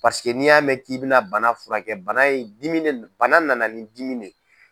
n'i y'a mɛn k'i bɛna bana furakɛ bana ye dimi de bana nana nin dimi min ye.